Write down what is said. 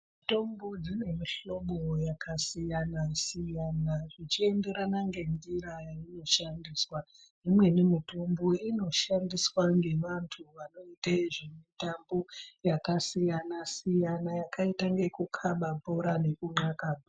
Mitombo dzine mihlobo yakasiyana siyana ichienderana nenjira yainoshandiswa imweni mitombo inoshandiswa nevantu vanoita zvemitambo yakasiyana siyana yakaita yekukana bhora nenka.